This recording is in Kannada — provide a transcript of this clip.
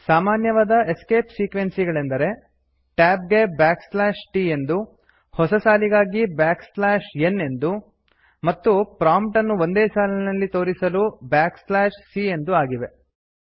ಸಾಮಾನ್ಯವಾದ ಎಸ್ಕೇಪ್ ಸೀಕ್ವೆನ್ಸ್ ಗಳೆಂದರೆ ಟ್ಯಾಬ್ ಗೆ t ಎಂದು ಹೊಸ ಸಾಲಿಗಾಗಿ n ಎಂದು ಮತ್ತು c ಇದು ಬಳಸಿದಾಗ ಪ್ರಾಂಪ್ಟ್ ಅನ್ನು ಒಂದೇ ಸಾಲಿನಲ್ಲಿ ತೋರಿಸಲು c ಎಂದು ಆಗಿವೆ